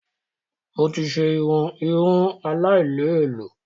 Mo ti ṣe irun ìhun aláì lẹ ẹ̀lọ́